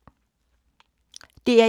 DR1